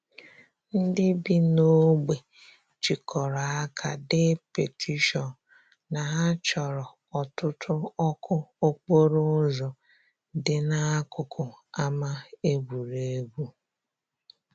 Ndị bi n'ogbe jikọrọ aka dee petishion na ha chọrọ ọtụtụ ọkụ okporo ụzọ dị n'akụkụ ama egwuregwu.